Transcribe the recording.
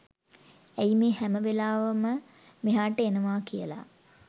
ඇයි මේ හැම වෙලාවෙම මෙහාට එනවා කියල